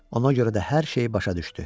Ona görə də hər şeyi başa düşdü.